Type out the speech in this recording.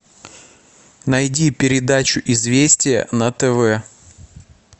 найди передачу известия на тв